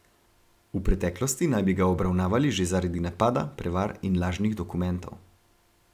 V preteklosti naj bi ga obravnavali že zaradi napada, prevar in lažnih dokumentov.